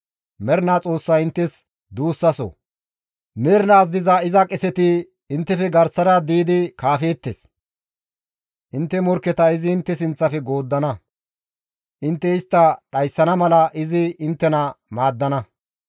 Mernaa Xoossay inttes duussaso; Mernaas diza iza qeseti inttefe garsara diidi kaafeettes; intte morkketa izi intte sinththafe gooddana; intte istta dhayssana mala izi inttena maaddana.